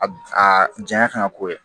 Aa janya kan ka k'o ye